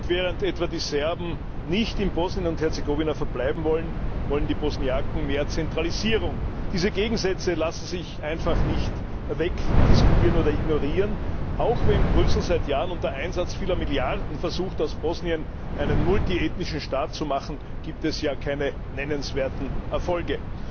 Und während etwa die Serben nicht in Bosnien und Herzegowina verbleiben wollen, wollen die Bosniaken mehr Zentralisierung. Diese Gegensätze lassen sich einfach nicht wegdiskutieren oder ignorieren. Auch wenn Brüssel seit Jahren unter Einsatz vieler Milliarden versucht, aus Bosnien einen multiethnischen Staat zu machen, gibt es hier keine nennenswerten Erfolge.